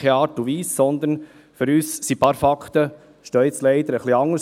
Leider sehen für uns ein paar Fakten nun anders aus.